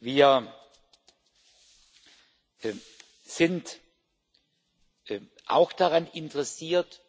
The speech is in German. Wir sind auch daran interessiert,